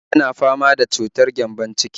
Yana fama da cutar gyambon-ciki